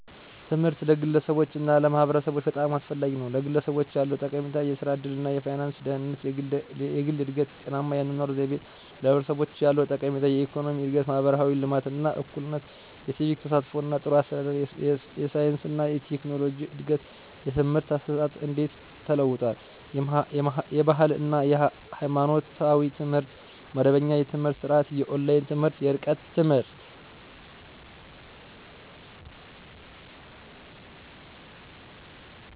ትምህርት ለግለሰቦች እና ለማህበረሰቦች በጣም አስፈላጊ ነው፤ #ለግለሰቦች ያለው ጠቀሜታ -* የሥራ ዕድል እና የፋይናንስ ደህንነት: * የግል እድገት: * ጤናማ የአኗኗር ዘይቤ: #ለማህበረሰቦች ያለው ጠቀሜታ -* የኢኮኖሚ እድገት: * ማህበራዊ ልማት እና እኩልነት: * የሲቪክ ተሳትፎ እና ጥሩ አስተዳደር: * የሳይንስ እና ቴክኖሎጂ እድገት: #የትምህርት አሰጣጥ እንዴት ተለውጧል? * የባህል እና ሃይማኖታዊ ትምህርት * መደበኛ የትምህርት ስርዓት * የኦንላይን ትምህርት *የርቀት ትምህርት.....